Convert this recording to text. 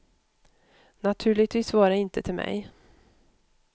Naturligtvis var det inte till mig.